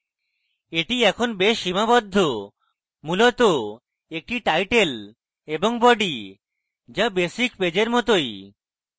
এটি এখন বেশ সীমাবদ্ধ মূলত একটি title এবং body যা basic page এর মতই